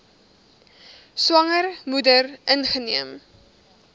swanger moeder ingeneem